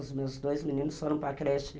Os meus dois meninos foram para a creche.